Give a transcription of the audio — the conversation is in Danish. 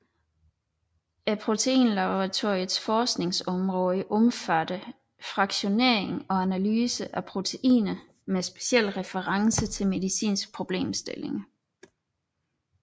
Proteinlaboratoriets forskningsområde omfattede fraktionering og analyse af proteiner med speciel reference til medicinske problemstillinger